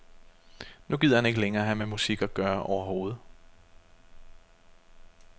Nu gider han ikke længere have med musik at gøre overhovedet.